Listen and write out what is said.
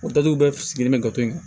O datugu bɛɛ sigilen bɛ gato yen